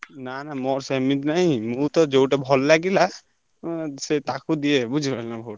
ନା ନା ମୋର ସେମିତି ନାଇଁ ମୁଁ ତ ଯୋଉଟା ଭଲ ଲାଗିଲା ଉଁ ସେ ତାକୁ ଦିଏ ବୁଝିଲନା vote ।